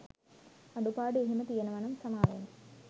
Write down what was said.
අඩුපාඩු එහෙම තියනවනම් සමාවෙන්න